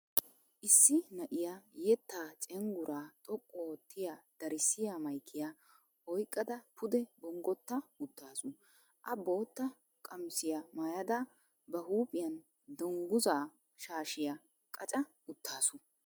Issi na'iya yettaa cengguraa xoqqu oottiy darissiya maykiya oyqqadavpude bonggotta uttaasu. A bootta qomisiya maayada bati huiphiyan dunggusa shaashiya qaca uttaasu.